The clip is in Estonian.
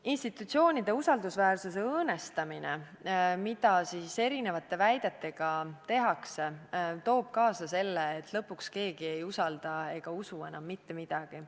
Institutsioonide usaldusväärsuse õõnestamine, mida erinevate väidetega tehakse, toob kaasa selle, et lõpuks keegi ei usalda ega usu enam mitte midagi.